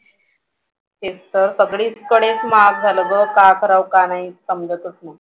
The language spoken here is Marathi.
तेच तर सगळीकडेच महाग झालं ग काय करावं काय नाही समजतच नाही.